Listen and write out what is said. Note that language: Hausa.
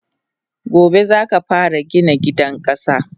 Gobe zaka fara Gina gidan kasa!